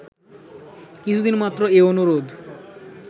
কিছুদিন মাত্র এ অনুরোধ